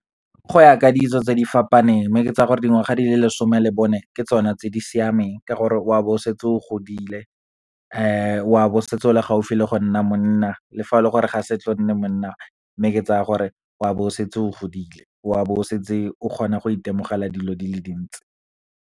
Go ya ka ditso tse di fapaneng, mme ke tsaya gore di ngwaga di le lesome le bone ke tsone tse di siameng, ka gore o a be o setse o godile, o a be o setse o le gaufi le go nna monna, le fa ore ga se tle o nne monna. Mme ke tsaya gore wa be o setse o godile, o a be o setse o kgona go itemogela dilo di le dintsi.